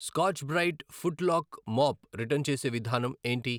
Scotch Brite foot lock mop return చేసే విధానం ఏంటి?